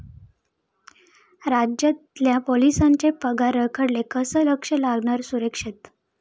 राज्यातल्या पोलिसांचे पगार रखडले, कसं लक्ष लागणार सुरक्षेत?